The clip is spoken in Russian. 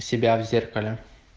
себя в зеркале